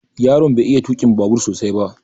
Yaron bai iya tukin babur sosai ba